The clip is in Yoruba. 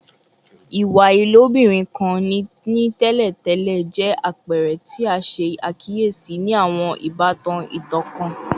Iwa ilobirin kan ni tẹlentẹle jẹ apẹrẹ ti a ṣe akiyesi ni awọn ibatan itan kan